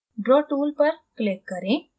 draw tool पर click करें